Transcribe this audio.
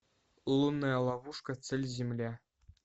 лунная ловушка цель земля